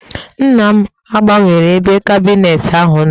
Nna m gbanwere ebe kabineetị ahụ nọ